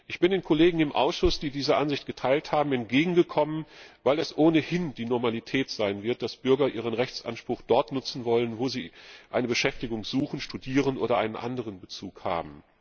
Ich bin den Kollegen im Ausschuss, die diese Ansicht geteilt haben, entgegengekommen, weil es ohnehin die Normalität sein wird, dass Bürger ihren Rechtsanspruch dort nutzen wollen, wo sie eine Beschäftigung suchen, studieren oder einen anderen Bezug haben.